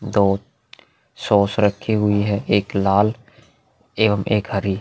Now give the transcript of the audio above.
दो सॉस रखे हुई है एक लाल एवं एक हरी --